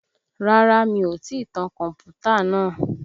Rárá mi ò tí tan kọ̀mpútà náà